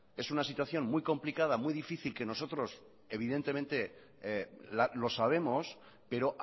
es una situación muy complicada muy difícil que nosotros evidentemente lo sabemos pero